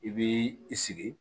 I bi i sigi